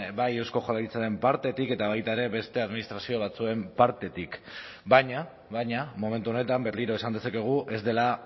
bai eusko jaurlaritzaren partetik eta baita ere beste administrazio batzuen partetik baina baina momentu honetan berriro esan dezakegu ez dela